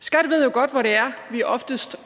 godt